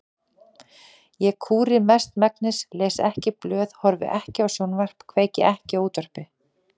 Ég kúri mestmegnis, les ekki blöð, horfi ekki á sjónvarp, kveiki ekki á útvarpi.